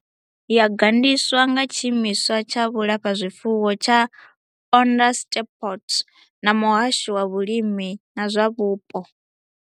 Yo gandiswa nga Tshiimiswa tsha Vhulafhazwifuwo tsha Onderstepoort na Muhasho wa Vhulimi na zwa Vhupo.